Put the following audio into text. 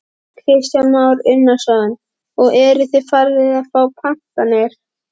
Kristján Már Unnarsson: Og eruð þið farnir að fá pantanir?